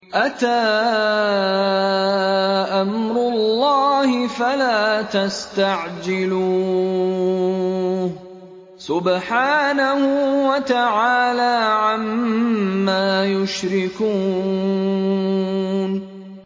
أَتَىٰ أَمْرُ اللَّهِ فَلَا تَسْتَعْجِلُوهُ ۚ سُبْحَانَهُ وَتَعَالَىٰ عَمَّا يُشْرِكُونَ